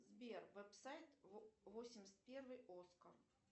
сбер веб сайт восемьдесят первый оскар